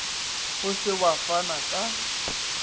o se wa fana ka